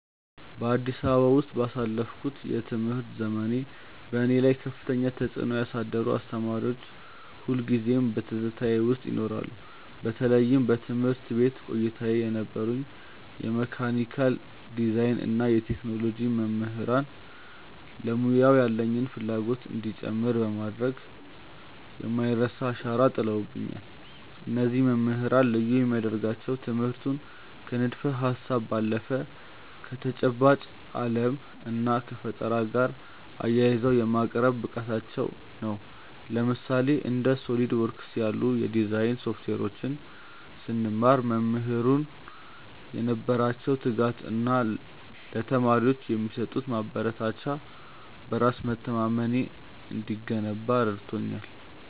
በአዲስ አበባ ውስጥ ባሳለፍኩት የትምህርት ዘመኔ፣ በእኔ ላይ ከፍተኛ ተጽዕኖ ያሳደሩ አስተማሪዎች ሁልጊዜም በትዝታዬ ውስጥ ይኖራሉ። በተለይም በትምህርት ቤት ቆይታዬ የነበሩኝ የመካኒካል ዲዛይን እና የቴክኖሎጂ መምህራን ለሙያው ያለኝን ፍላጎት እንዲጨምር በማድረግ የማይረሳ አሻራ ጥለውብኛል። እነዚህ መምህራን ልዩ የሚያደርጋቸው ትምህርቱን ከንድፈ-ሀሳብ ባለፈ ከተጨባጭ ዓለም እና ከፈጠራ ጋር አያይዘው የማቅረብ ብቃታቸው ነበር። ለምሳሌ፣ እንደ SOLIDWORKS ያሉ የዲዛይን ሶፍትዌሮችን ስንማር፣ መምህራኑ የነበራቸው ትጋት እና ለተማሪዎች የሚሰጡት ማበረታቻ በራስ መተማመኔ እንዲገነባ ረድቶኛል።